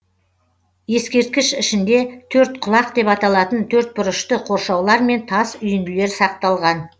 ескерткіш ішінде төрткұлақ деп аталатын төртбұрышты қоршаулар мен тас үйінділер сақталған